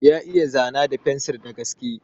Ya iya zana da fensir da gaske.